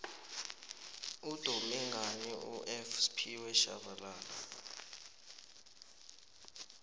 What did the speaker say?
udume ngani ufphiwe shabalala